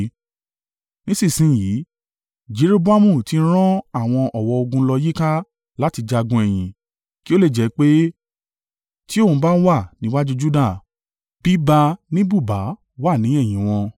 Nísinsin yìí, Jeroboamu ti rán àwọn ọ̀wọ́ ogun lọ yíká láti jagun ẹ̀yìn. Kí ó lè jẹ́ pé, tí òun bá wà níwájú Juda, bíba ní bùba á wà ní ẹ̀yìn wọn.